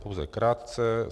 Pouze krátce.